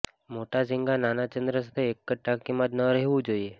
મોટા ઝીંગા નાના ચંદ્ર સાથે એક જ ટાંકીમાં ન રહેવું જોઈએ